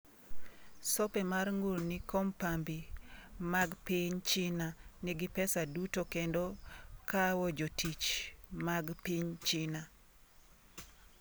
Sope, ma ng’ur ni kompambi mag piny China nigi pesa duto kendo kawo jotich mag piny China.